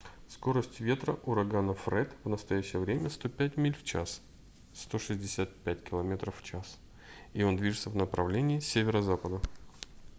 скорость ветра урагана фред в настоящее время 105 миль в час 165 км/ч и он движется в направление северо-запада